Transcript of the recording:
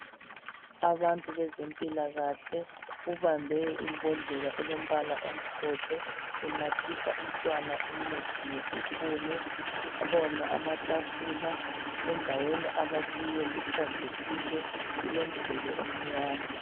Abantu bezempilakahle, ubambe imbodlela elombala omhlophe unathisa umntwana umuthi ngesipunu. Kukhona amatafula endaweni abakiyo, kuhlanzekile kulomduli omnyama.